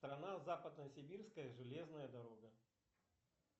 страна западно сибирская железная дорога